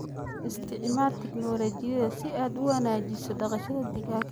Isticmaal tignoolajiyada si aad u wanaajiso dhaqashada digaaga.